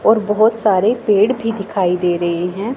और बहुत सारे पेड़ भी दिखाई दे रहे हैं।